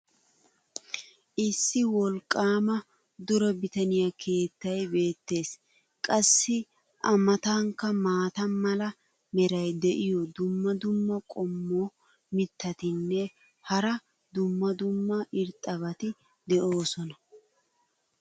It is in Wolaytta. issi wolqqaama dure bitaniya keettay beetees. qassi a matankka maata mala meray diyo dumma dumma qommo mitattinne hara dumma dumma irxxabati de'oosona.